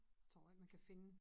Tror ikke man kan finde